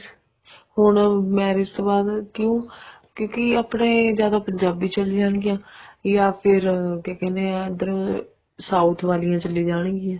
ਹੁਣ marriage ਤੋਂ ਬਾਅਦ ਕਿਉਂ ਕਿਉਂਕਿ ਆਪਣੇ ਜਾਂ ਪੰਜਾਬੀ ਚੱਲਣਗੀਆਂ ਜਾਂ ਫ਼ੇਰ ਕਿਆ ਕਹਿਨੇ ਹਾਂ ਇੱਧਰ south ਵਾਲੀਆਂ ਚੱਲੀ ਜਾਣਗੀਆਂ